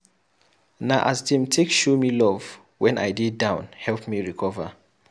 Na as dem take show me love wen I dey down help me recover.